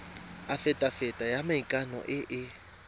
afitafiti ya maikano e e